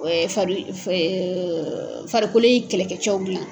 Farikolo ye kɛlɛkɛ cɛw dilan.